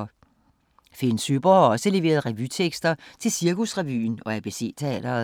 Finn Søeborg har også leveret revytekster til Cirkusrevyen og ABC Teatret.